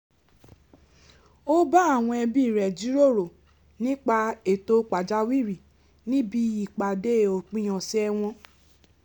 ó bá àwọn ẹbí rẹ̀ jíròrò nípa ètò pàjáwìrì níbi ìpàdé ópin ọ̀sẹ̀ wọn